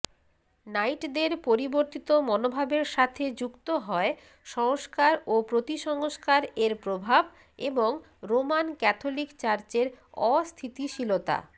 নাইটদের পরিবর্তিত মনোভাবের সাথে যুক্ত হয় সংস্কার ও প্রতিসংস্কারএর প্রভাব এবং রোমান ক্যাথোলিক চার্চের অস্থিতিশীলতা